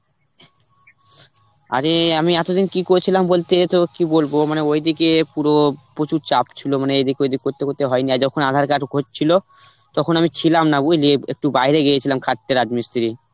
আরে আমি এতদিন কি করছিলাম বলতে তোকে কি বলবো মানে ওইদিকে পুরো প্রচুর চাপ ছিল, মানে এদিক ঐদিক করতে করতে হয়নি, আর যখন aadhar card হচ্ছিল তখন আমি ছিলাম না বুঝলি একটু বাইরে গিয়েছিলাম খাটতে রাজমিস্ত্রি.